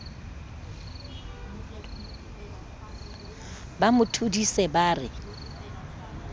ba mo thodise ba re